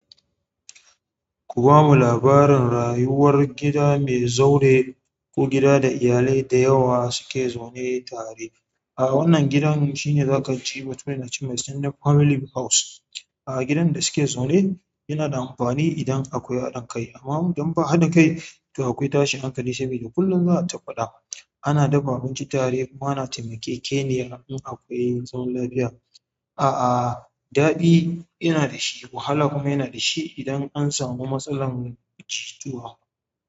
Ku bamu labarin rayuwar gida mai zaure ko gida da iyalai da yawa suke zaune tare. A wannan gidan shine za ka ji mutane na cewa shine family house. Gidan da suke zaune yanada amfani idan akwai haɗa kai amma idan ba haɗa kai to akwai tashin hankali sabi kullum za ayi ta faɗa. Ana dafa abinci tare kuma ana taimake-ke-ni ya in akwai zama lafiya. A'a, daɗi yana da shi, wahala kuma yana da shi idan an samu matsalar jituwa.